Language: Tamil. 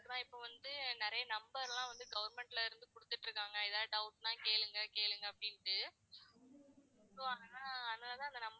ஆனா இப்ப வந்து நிறைய நம்பர்லாம் வந்து government ல இருந்து குடுத்துட்டு இருக்காங்க எதா doubt னா கேளுங்க கேளுங்க அப்படின்டு. so அதா அதுனாலதான்